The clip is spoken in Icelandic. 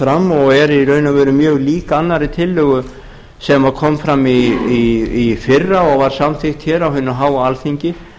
fram og er í raun og veru mjög lík annarri tillögu sem kom fram í fyrra og var samþykkt hér á hinu að alþingi